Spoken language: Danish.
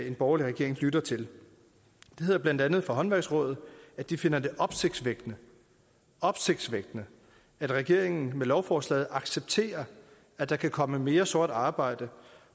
en borgerlig regering lytter til det hedder blandt andet fra håndværksrådet at de finder det opsigtsvækkende opsigtsvækkende at regeringen med lovforslaget accepterer at der kan komme mere sort arbejde